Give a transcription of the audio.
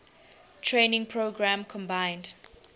training program combined